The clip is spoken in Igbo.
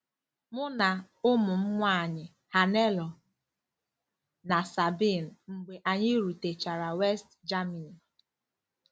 Mụ na ụmụ m nwanyị Hannelore na Sabine mgbe anyị rutechara West Germany